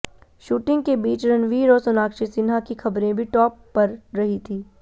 shooting के बीच रणवीर और सोनाक्षी सिन्हा की खबरें भी टॉप पर रही थी